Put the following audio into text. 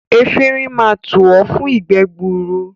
Efinrin máa tù ọ́ fún ìgbẹ́ gbuuru.